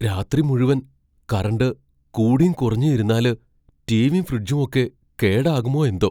രാത്രി മുഴുവൻ കറണ്ട് കൂടീം കുറഞ്ഞും ഇരുന്നാല്, റ്റീവീം ഫ്രിജ്ജുമൊക്കെ കേടാകുമോയെന്തോ!